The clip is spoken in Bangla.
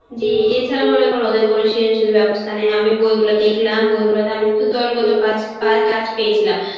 জি এছাড়া মনে করো ওদের কোন সৃজনশীল ব্যবস্থা নেই আমি বইগুলো দেখলাম বইগুলোতে আমি সুধু দোল গত পাচ~ কাজ পেয়চিলাম